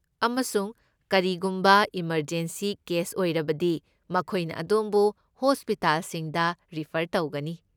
ꯑꯃꯁꯨꯡ ꯀꯔꯤꯒꯨꯝꯕ ꯏꯃꯔꯖꯦꯟꯁꯤ ꯀꯦꯁ ꯑꯣꯏꯔꯕꯗꯤ ꯃꯈꯣꯏꯅ ꯑꯗꯣꯝꯕꯨ ꯍꯣꯁꯄꯤꯇꯥꯜꯁꯤꯡꯗ ꯔꯤꯐꯔ ꯇꯧꯒꯅꯤ꯫